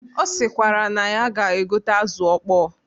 Ọ sịkwara na ya ga-egote azụ ọkpọ